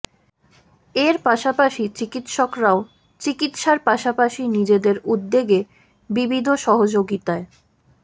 এর পাশাপাশি চিকিৎসকরাও চিকিৎসার পাশাপাশি নিজেদের উদ্যোগে বিবিধ সহযোগিতায়